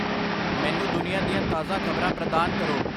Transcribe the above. ਮੈਨੂੰ ਦੁਨੀਆ ਦੀਆਂ ਤਾਜ਼ਾ ਖਬਰਾਂ ਪ੍ਰਦਾਨ ਕਰੋ